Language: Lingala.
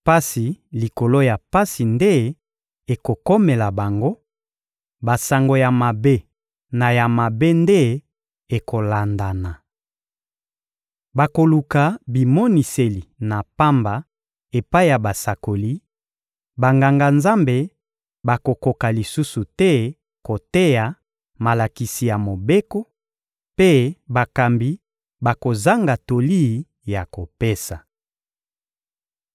Pasi likolo ya pasi nde ekokomela bango, basango ya mabe na ya mabe nde ekolandana. Bakoluka bimoniseli na pamba epai ya basakoli; Banganga-Nzambe bakokoka lisusu te koteya malakisi ya Mobeko, mpe bakambi bakozanga toli ya kopesa.